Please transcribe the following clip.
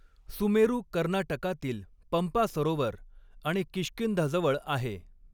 सुमेरू कर्नाटकातील पंपा सरोवर आणि किष्किंधाजवळ आहे.